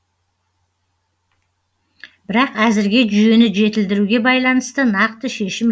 бірақ әзірге жүйені жетілдіруге байланысты нақты шешім